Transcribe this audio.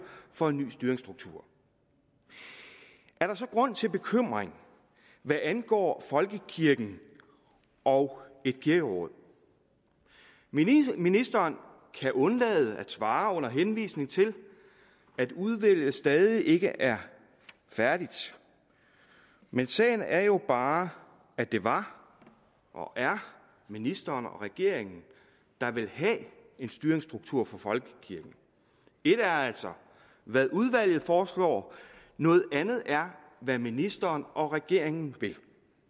for en ny styringsstruktur er der så grund til bekymring hvad angår folkekirken og et kirkeråd ministeren ministeren kan undlade at svare under henvisning til at udvalget stadig ikke er færdigt men sagen er jo bare at det var og er ministeren og regeringen der vil have en styringsstruktur for folkekirken et er altså hvad udvalget foreslår noget andet er hvad ministeren og regeringen vil